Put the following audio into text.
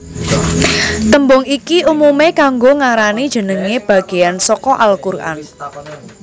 Tembung iki umume kanggo ngarani jenenge bageyan saka al Quran